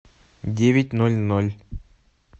девять ноль ноль